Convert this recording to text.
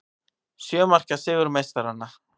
Sjö marka sigur meistaranna